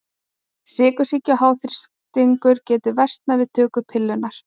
Sykursýki og háþrýstingur geta versnað við töku pillunnar.